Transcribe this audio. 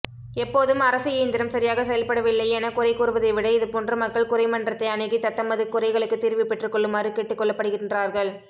எப்போதும் அரசுஇயந்திரம் சரியாக செயல்படவில்லை எனகுறைகூறவதைவிட இதுபோன்ற மக்கள்குறைமன்றத்தை அனுகி தத்தமது குறைகளுக்கு தீர்வுபெற்றுக்கொள்ளுமாறு கேட்டுகொள்ளபடுகின்றார்கள்